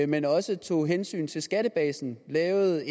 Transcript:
men også tog hensyn til skattebasen lavede